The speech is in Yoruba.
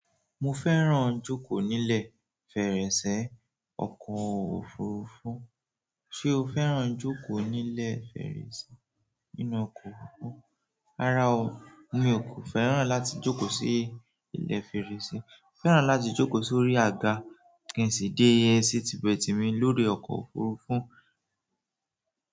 Mo fẹ́ràn jókòó nílẹ̀ fèrèsé ọkọ̀ òfurufú. Ṣé o fẹ́ràn jókòó nílẹ̀ fèrèsé inú ọkọ̀ òfurufú? Rárá o, mi ò kò fẹ́ràn láti jókòó sí ilẹ̀ fèrèsé. Mo fẹ́ràn láti jókòó sórí àga kí n sì dé e seat bet mi lórí ọkọ̀ òfurufú.